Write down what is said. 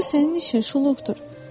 Onda sənin işin şuluqdur.